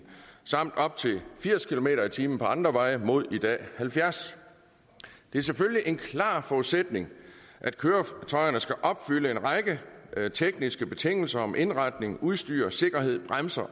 samt op til firs kilometer per time på andre veje mod i dag halvfjerds det er selvfølgelig en klar forudsætning at køretøjerne skal opfylde en række tekniske betingelser om indretning udstyr sikkerhed bremser